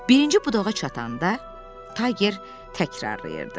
Birinci budağa çatanda Tayger təkrarlayırdı.